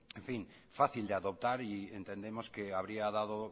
fácil de adoptar y entendemos que habría dado